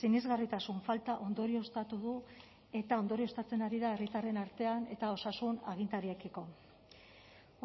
sinesgarritasun falta ondorioztatu du eta ondorioztatzen ari da herritarren artean eta osasun agintariekiko